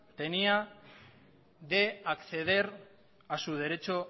tenía de acceder a su derecho